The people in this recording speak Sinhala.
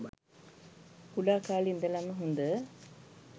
කුඩා කාලේ ඉඳලම හොඳ